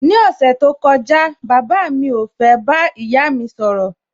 Ní ọ̀sẹ̀ tí ó kọjá, bàbá mi ò fẹ́ bá ìyá mi sọ̀rọ̀